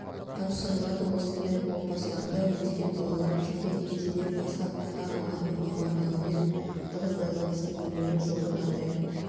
тапсырылады осындай отбасыларда өскен балалар кішкентай кездерінен бастап ата-аналарының мамандықтарымен тығыз байланысты өмірлік жолды таңдайды